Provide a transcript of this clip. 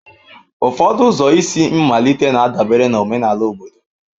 Ụfọdụ ụzọ isi mmalite na-adabere na omenala obodo.